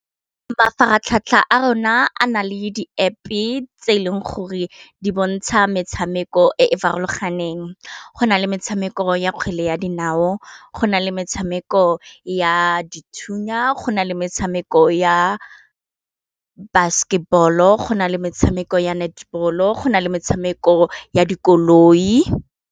Mafaratlhatlha a rona a nale di App e tse e leng gore di bontsha metshameko e e farologaneng go na le metshameko ya kgwele ya dinao, go na le tshameko ya dithunya, go na le metshameko ya basketball-o, go na le metshameko ya netball-o, go na le metshameko ya dikoloi.